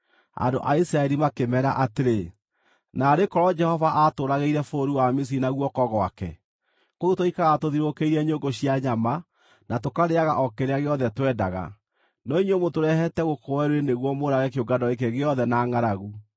Andũ a Isiraeli makĩmeera atĩrĩ, “Naarĩ korwo Jehova aatũũragĩire bũrũri wa Misiri na guoko gwake! Kũu twaikaraga tũthiũrũrũkĩirie nyũngũ cia nyama, na tũkarĩĩaga o kĩrĩa gĩothe twendaga, no inyuĩ mũtũrehete gũkũ werũ-inĩ nĩguo mũũrage kĩũngano gĩkĩ gĩothe na ngʼaragu.”